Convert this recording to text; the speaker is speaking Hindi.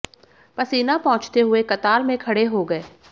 पसीना पोंछते हुए कतार में खड़े हो गए